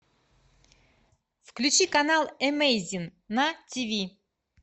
включи канал эмейзинг на тв